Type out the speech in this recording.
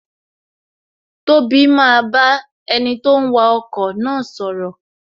Tobi maa ba enito ń wa ọkọ̀ na sọ̀rọ̀